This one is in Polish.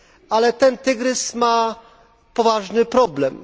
Ale ten tygrys ma poważny problem.